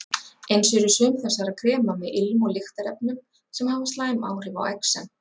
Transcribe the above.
Eins eru sum þessara krema með ilm- og lyktarefnum sem hafa slæm áhrif á exem.